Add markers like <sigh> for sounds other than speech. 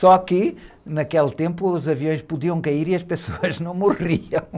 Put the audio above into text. Só que naquele tempo os aviões podiam cair e as pessoas <laughs> não morriam.